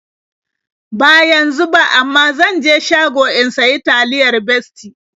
Ba yanzu ba, amma zan je shago in sayi taliyar Bestie.